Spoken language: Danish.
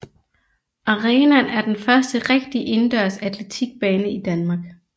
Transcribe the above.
Arenaen er den første rigtige indendørs atletikbane i Danmark